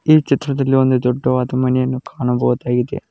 ಈ ಚಿತ್ರದಲ್ಲಿ ಒಂದು ದೊಡ್ಡವಾದ ಮನೆಯನ್ನು ಕಾಣಬಹುದಾಗಿದೆ.